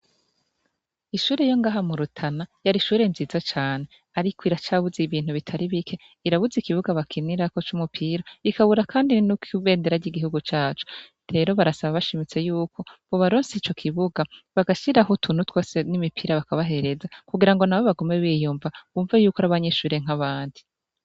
Ishure yo ngahamurutana, yarishure nziza cane, ariko iracabuze ibintu bitari bike irabuze ikibuga bakinirako c'umupira ikabura, kandi ninukoibendera ry'igihugu caco rero barasaba bashimitse yuko bo baronse ico, kibuga bagashira aho utunutwase n'imipira bakabahereza, kugira ngo na be bagome biyumva, bumva yuko ari abanyishurie nki abandi.